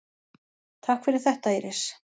Takk fyrir þetta Íris.